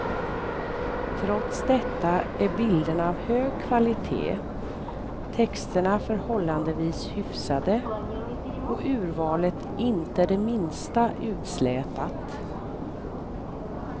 Trots detta är bilderna av hög kvalitet, texterna förhållandevis hyfsade och urvalet inte det minsta utslätat.